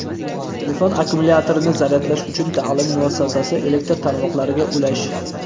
telefon akkumulyatorini zaryadlash uchun ta’lim muassasasi elektr tarmoqlariga ulash;.